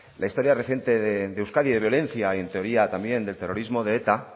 la historia reciente de euskadi de violencia y en teoría también del terrorismo de eta